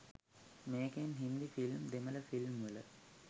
මේකෙන්.හින්දි film දෙමළ ෆිල්ම්වල